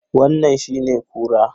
Wannan shine kura?